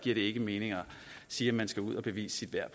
ikke mening at sige at man skal ud at bevise sit værd